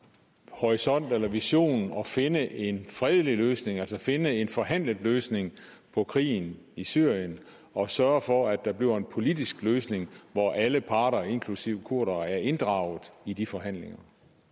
horisont eller vision at finde en fredelig løsning altså finde en forhandlet løsning på krigen i syrien og sørge for at der bliver en politisk løsning hvor alle parter inklusive kurdere er inddraget i de forhandlinger